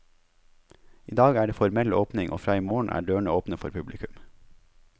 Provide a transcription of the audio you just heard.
I dag er det formell åpning, og fra i morgen er dørene åpne for publikum.